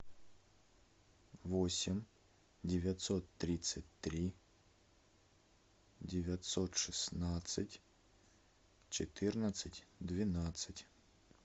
восемь девятьсот тридцать три девятьсот шестнадцать четырнадцать двенадцать